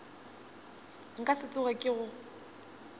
nka se tsoge ke go